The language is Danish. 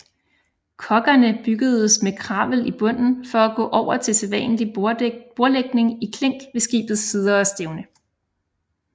Koggerne byggedes med kravel i bunden for at gå over til sædvanlig bordlægning i klink ved skibets sider og stævne